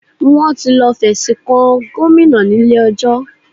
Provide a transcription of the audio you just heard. Wọ́n ti lọ fẹ̀sùn kan Gomina ní ilé ẹjọ́